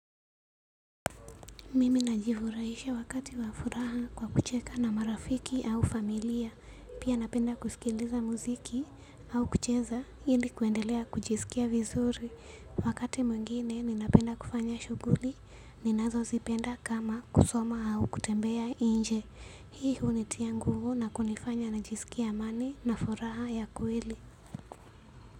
Mimi najifurahisha wakati wa furaha kwa kucheka na marafiki au familia, pia napenda kusikiliza muziki au kucheza ili kuendelea kujisikia vizuri. Wakati mwingine ninapenda kufanya shughuli ninazozipenda kama kusoma au kutembea nje. Hii hunitia nguvu na kunifanya nijisikia amani na furaha ya kweli.